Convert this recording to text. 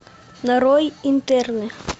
нарой интерны